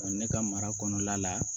ne ka mara kɔnɔna la